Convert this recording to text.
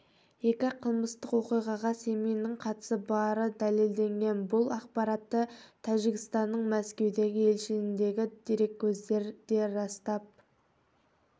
екі қылмыстық оқиғаға семиннің қатысы бары дәлелденген бұл ақпаратты тәжікстанның мәскеудегі елшілігіндегі дереккөз де растап